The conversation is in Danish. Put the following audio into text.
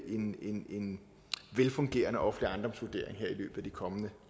en velfungerende offentlig ejendomsvurdering i de kommende